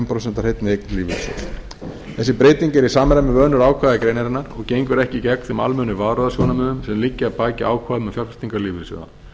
af hreinni eign lífeyrissjóðsins þessi breyting er í samræmi við önnur ákvæði greinarinnar og gengur ekki gegn þeim almennu varúðarsjónarmiðum sem liggja að baki ákvæðum um fjárfestingar lífeyrissjóða